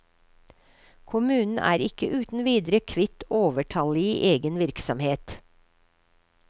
Kommunen er ikke uten videre kvitt overtallige i egen virksomhet.